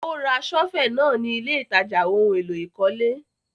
Ó ra sọ́fẹ̀ náà ni ilé ìtajà ohun-èlò ìkọ́lé.